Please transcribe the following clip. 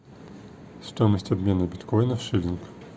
стоимость обмена биткоина в шиллинг